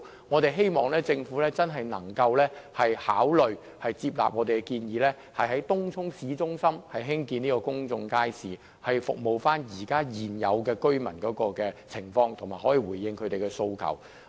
我們希望政府真的能夠考慮接納我們的建議，在東涌市中心興建公眾街市，為現有居民提供服務和回應他們的訴求。